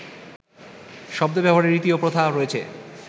শব্দ ব্যবহারের রীতি ও প্রথা রয়েছে